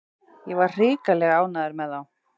Ég var hrikalega ánægður með þá.